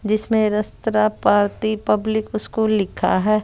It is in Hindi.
जिसमें रस्तरा पार्ति पब्लिक स्कूल लिखा है।